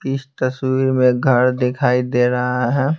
इस तस्वीर में घर दिखाई दे रहा है।